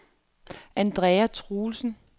Andrea Truelsen